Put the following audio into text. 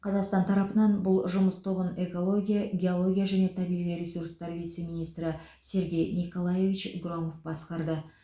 қазақстан тарапынан бұл жұмыс тобын экология геология және табиғи ресурстар вице министрі сергей николаевич громов басқарды